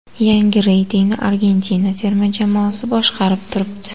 Yangi reytingni Argentina terma jamoasi boshqarib turibdi.